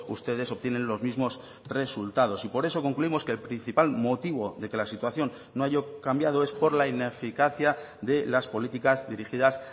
ustedes obtienen los mismos resultados y por eso concluimos que el principal motivo de que la situación no haya cambiado es por la ineficacia de las políticas dirigidas